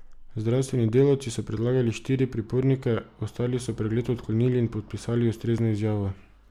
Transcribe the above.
Zdravstveni delavci so pregledali štiri pripornike, ostali so pregled odklonili in podpisali ustrezno izjavo.